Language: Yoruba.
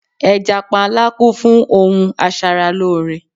Ẹja panla kún fún ohun asaralóore